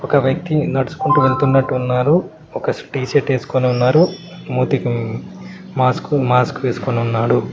ఒక వ్యక్తి నడుసుకుంటూ వెళ్తున్నట్టు ఉన్నారు ఒక టీ షర్ట్ వేసుకొని ఉన్నారు మూతికి మ్మ్ మాస్కు మాస్క్ వేసుకొని ఉన్నాడు.